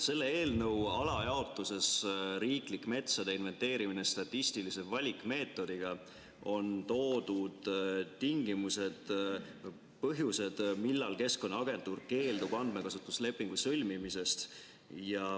Selle eelnõu alajaotuses "Riiklik metsade inventeerimine statistilise valikmeetodiga" on toodud põhjused, millal Keskkonnaagentuur keeldub andmekasutuslepingu sõlmimisest.